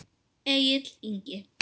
Egill Ingi.